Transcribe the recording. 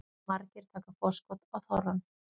Margir taka forskot á þorrann